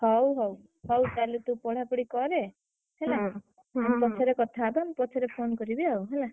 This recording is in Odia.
ହଉ ହଉ, ହଉ କାଲି ତୁ ପଢାପଢି କରେ, ହେଲା। ପଛରେ କଥାହେବା ମୁଁ ପଛରେ phone କରିବି ଆଉ ହେଲା।